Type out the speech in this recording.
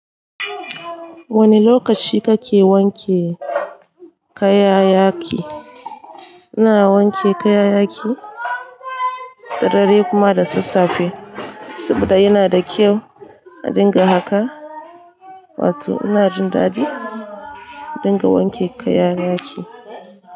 Wane lokaci kake wanke kayayyaki? Ina wanke kayayyaki da daddare da kuma sassafe, saboda yana da kyau a dinga haka, wato ina jin daɗi in dinga wanke kayayyaki.